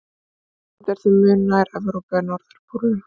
Ísland er því mun nær Evrópu en norðurpólnum.